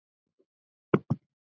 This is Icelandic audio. Og þú brosir.